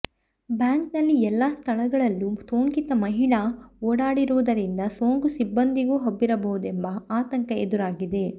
ಬ್ಯಾಂಕ್ನಲ್ಲಿ ಎಲ್ಲ ಸ್ಥಳಗಳಲ್ಲೂ ಸೋಂಕಿತ ಮಹಿಳಾ ಓಡಾಡಿರುವುದರಿಂದ ಸೋಂಕು ಸಿಬ್ಬಂದಿಗೂ ಹಬ್ಬಿರಬಹುದೆಂಬ ಆತಂಕ ಎದುರಾಗಿದೆ